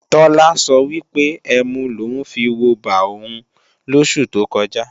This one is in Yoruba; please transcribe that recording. Tọ́lá sọ wípé ẹmu lòún fiwobà òun lósù tó kọjá